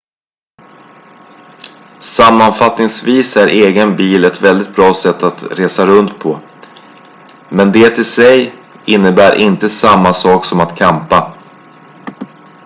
sammanfattningsvis är egen bil ett väldigt bra sätt att resa runt på men det i sig innebär inte samma sak som att campa